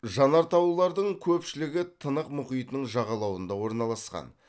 жанартаулардың көпшілігі тынық мұхитының жағалауында орналасқан